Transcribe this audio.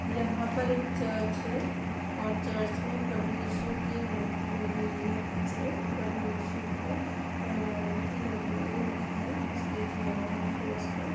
यहाँ पर एक चर्च है और चर्च में प्रभु इशू की मूर्ति लगी हुई है पीछे प्रभु इशू का अ मूर्ति लगी हुई है स्टैचू बना हुआ है क्रॉस पर।